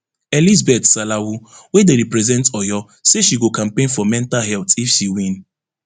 elizabeth salawu wey dey represent oyo say she go campaign for mental health if she win